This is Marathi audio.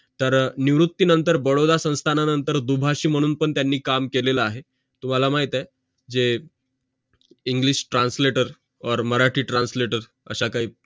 तर निवृत्ती नंतर बडोदा संस्थाना नंतर दोभाषी मानून पण त्यांनी काम केलेलं आहे तुम्हाला माहित आहे english translator or marathi translator असं काही